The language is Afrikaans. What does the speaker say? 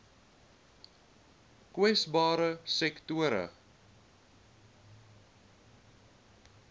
kwesbare sektore